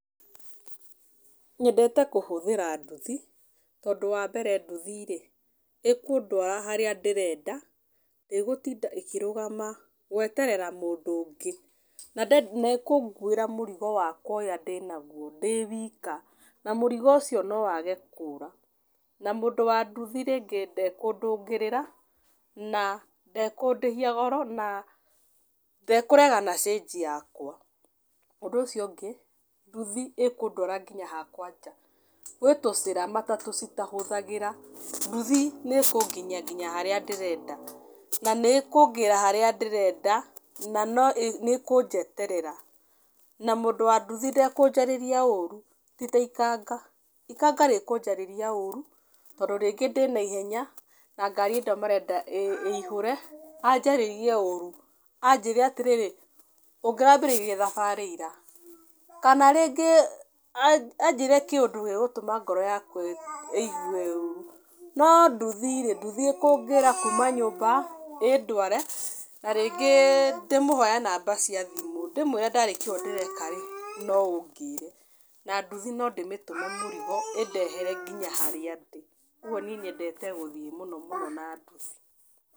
Nyendete kũhũthira nduthi, tondũ wa mbere nduthi rĩ, ĩkũndũara harĩa ndĩrenda, ndĩgũtinda ĩkĩrũgama gweterera mũndũ ũngĩ, na ĩkũnguĩra mũrigo wakwa ũrĩa ndĩnaguo ndĩwika na mũrigo ũcio no wage kũũra. Na mũndũ wa nduthi rĩngĩ nde kũndũgĩrĩra, na ndekũndĩhia goro, na ndekũrega na cĩnji yakwa. Ũndũ ũcio ũngĩ, nduthi ĩkũndwara nginya hakwa nja. Gwĩ tũcĩra matatũ citahũthagĩra, nduthi nĩ ĩkũnginyia harĩa ndĩrenda na nĩ ĩkũngĩĩra harĩa ndĩrenda, na nĩ ĩkũnjeterera. Na mũndũ wa ndũthi ndekũnjarĩria rĩu ti ta ikanga. Ikanga rĩkũnjarĩria ũru tondũ rĩngĩ ndĩna ihenya, na ngari hĩndĩ ĩyo marenda ĩihũre, anjaríĩie ũru, anjĩre atĩrĩrĩ, ũngĩrambĩrĩirie thabarĩ ira. Kana rĩngĩ anjĩre kĩundũ gĩgũtũma ngoro yakwa ĩigue ũũrũ. No ndũthi rĩ, ndũthi ĩkũngĩra kuuma nyũmba, ĩndũare, na rĩngĩ ndĩmũhoe namba cia thimũ ndĩmũire ndarĩkia ũũ ndĩreka rĩ, no ũngĩre, na nduthi no ndĩmĩtũme mũrigo, ĩndehere nginya harĩa ndĩ. kuũguo niĩ nyendete gũthiĩ mũno mũno na nduthi.